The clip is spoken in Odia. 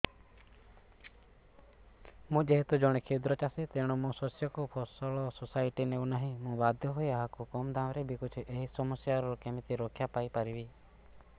ମୁଁ ଯେହେତୁ ଜଣେ କ୍ଷୁଦ୍ର ଚାଷୀ ତେଣୁ ମୋ ଶସ୍ୟକୁ ଫସଲ ସୋସାଇଟି ନେଉ ନାହିଁ ମୁ ବାଧ୍ୟ ହୋଇ ଏହାକୁ କମ୍ ଦାମ୍ ରେ ବିକୁଛି ଏହି ସମସ୍ୟାରୁ କେମିତି ରକ୍ଷାପାଇ ପାରିବି